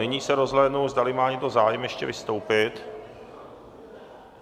Nyní se rozhlédnu, zdali má někdo zájem ještě vystoupit.